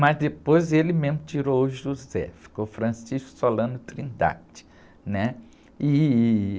Mas depois ele mesmo tirou o José, ficou Francisco Solano Trindade, né? Ih...